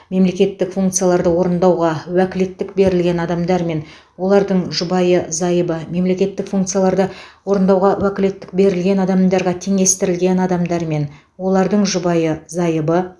мемлекеттік функцияларды орындауға уәкілеттік берілген адамдар мен олардың жұбайы зайыбы мемлекеттік функцияларды орындауға уәкілеттік берілген адамдарға теңестірілген адамдар мен олардың жұбайы зайыбы